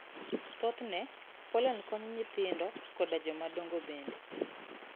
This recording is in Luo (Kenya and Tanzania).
Thothne, pollen konyo nyithindo koda jomadongo bende.